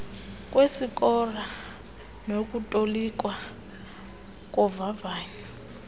kwesikora nokutolikwa kovavanyo